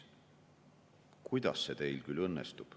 // kuidas see teil küll õnnestub?